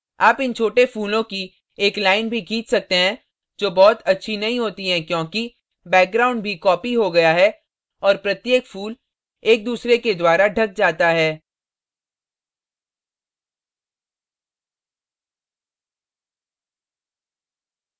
आप इन छोटे फूलों की एक line भी खींच सकते हैं जो बहुत अच्छी नहीं होती है क्योंकि background भी copied हो गया है और प्रत्येक फूल एक दूसरे के द्वारा ढक जाता है